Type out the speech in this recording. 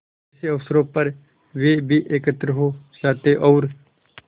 ऐसे अवसरों पर वे भी एकत्र हो जाते और